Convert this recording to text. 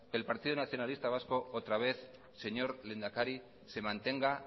que el partido nacionalista vasco otra vez señor lehendakari se mantenga